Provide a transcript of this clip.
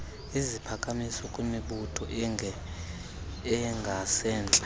iziphakamiso kwimibutho engasentla